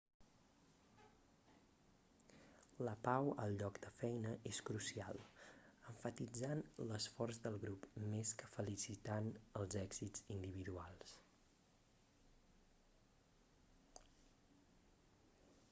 la pau al lloc de feina és crucial emfatitzant l'esforç del grup més que felicitant els èxits individuals